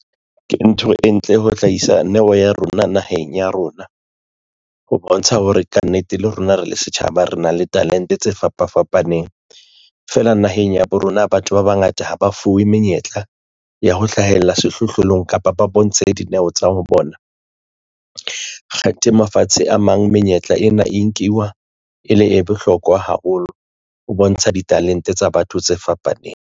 Ke ntho e ntle ho hlahisa neo ya rona naheng ya rona ho bontsha hore kannete le rona re le setjhaba re na le talente tse fapafapaneng fela naheng ya bo rona. Batho ba bangata ha ba fuwe menyetla ya ho hlahella sehlohlolong kapa ba bontshe dineo tsa bona. Kgathe mafatshe a mang menyetla ena e nkiwa e le e bohlokwa haholo o bontshe ditalente tsa batho tse fapaneng.